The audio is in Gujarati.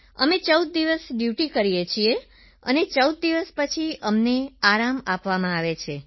અમે 14 દિવસ ડ્યૂટી કરીએ છીએ અને 14 દિવસ પછી અમને આરામ આપવામાં આવે છે